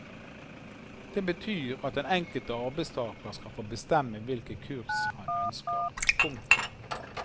Det betyr at den enkelte arbeidstager skal få bestemme hvilke kurs han ønsker. punktum